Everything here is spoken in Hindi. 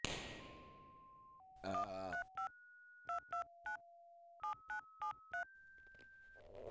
यह एक ऐसा मामला है जिसमें याचिकाकर्ता ने गैरकानूनी रूप से अवैध बदलाव किए हैं